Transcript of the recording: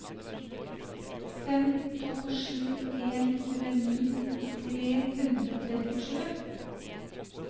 fem to sju en tjueni tre hundre og trettisju